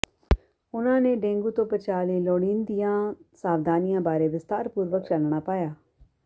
ਉਹਨਾਂ ਨੇ ਡੇਂਗੂ ਤੋਂ ਬਚਾਅ ਲਈ ਲੋੜੀਂਦੀਅਿਾਂ ਸਾਵਧਾਨੀਆਂ ਬਾਰੇ ਵਿਸਥਾਰਪੂਰਵਕ ਚਾਨਣਾ ਪਾਇਆ